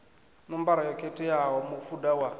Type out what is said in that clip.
ṋombaro yo khetheaho mufuda wa